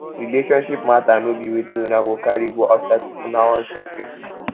relationship mata no be wetin una go carry go outside if una wan settle